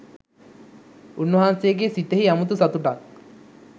උන්වහන්සේගේ සිතෙහි අමුතු සතුටක්